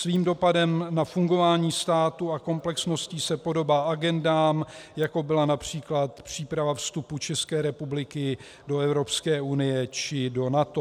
Svým dopadem na fungování státu a komplexností se podobá agendám, jako byla například příprava vstupu České republiky do Evropské unie či do NATO.